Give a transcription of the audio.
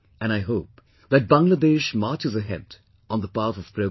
And I hope that Bangladesh marches ahead on the path of progress